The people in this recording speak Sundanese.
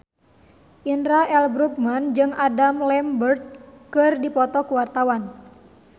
Indra L. Bruggman jeung Adam Lambert keur dipoto ku wartawan